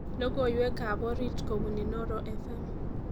Logoiwekab orit kobun Inooro fm